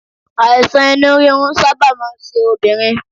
Àìsàn inú rírun sábà máa ń ṣe obìnrin